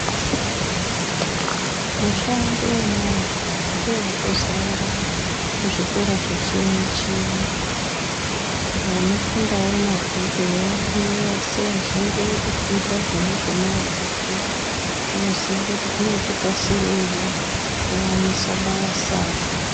Mushando wemaoko ndowatosara muzvikora zveshenje vanofundawo mabhuku eya variyo asi vazhinji votofundira zvona zvemaokozvo vanoziye kuti zvinoti kasireiwo kuwanisa basa.